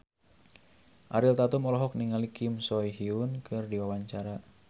Ariel Tatum olohok ningali Kim So Hyun keur diwawancara